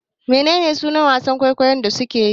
Menene sunan wasan kwaikwayon da suke yi?